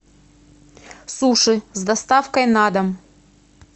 суши с доставкой на дом